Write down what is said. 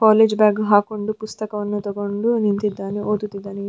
College bag ಹಾಕೊಂಡು ಪುಸ್ತಕವನ್ನು ತಕೊಂಡು ನಿಂತಿದ್ದಾನೆ ಓದಿತ್ತಿದ್ದಾನೆ.